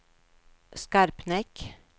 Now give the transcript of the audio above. Skarpnäck